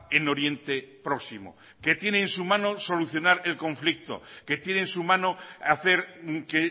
en oriente próximo que tiene en su mano solucionar el conflicto que tiene en su mano hacer que